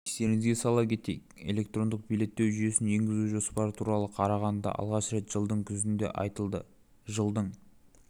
естеріңізге сала кетейік электрондық билеттеу жүйесін енгізу жоспары туралы қарағандыда алғаш рет жылдың күзінде айтылды жылдың